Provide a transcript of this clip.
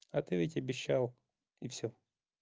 а ты ведь обещал и всё